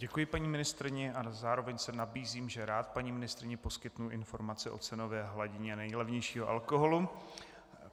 Děkuji paní ministryni a zároveň se nabízím, že rád paní ministryni poskytnu informace o cenové hladině nejlevnějšího alkoholu.